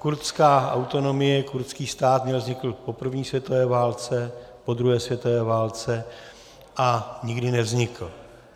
Kurdská autonomie, kurdský stát měl vzniknout po první světové válce, po druhé světové válce, a nikdy nevznikl.